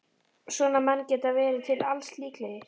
Svona menn geta verið til alls líklegir.